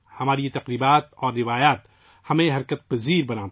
ہمارے یہ تہوار اور روایات ہمیں متحرک بناتی ہیں